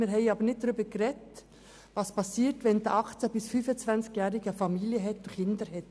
Wir haben aber nicht darüber gesprochen, was geschieht, wenn ein 18- bis 25-Jähriger eine Familie mit Kindern hat.